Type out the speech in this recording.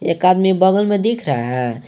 एक आदमी बगल में दिख रहा है।